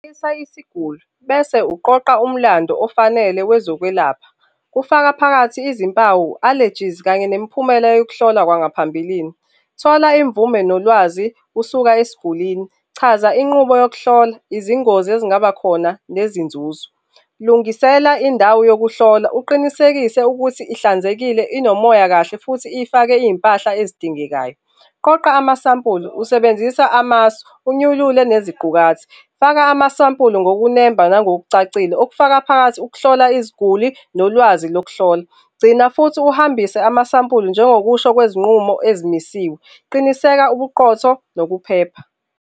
isiguli bese uqoqa umlando ofanele wezokwelapha kufaka phakathi izimpawu, allergies kanye nemiphumela yokuhlolwa kwangaphambilini. Thola imvume nolwazi usuka esigulini. Chaza inqubo yokuhlola, izingozi ezingaba khona nezinzuzo. Lungisela indawo yokuhlola, uqinisekise ukuthi ihlanzekile, inomoya kahle futhi ifake izimpahla ezidingekayo. Qoqa amasampulu usebenzisa amasu, unyulule neziqukathi. Faka amasampulu ngokunemba nangokucacile, okufaka phakathi ukuhlola iziguli nolwazi lokuhlola. Gcina futhi uhambise amasampula njengokusho kwezinqumo ezimisiwe. Qiniseka ubuqotho nokuphepha.